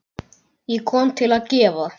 Ég kom til að gefa.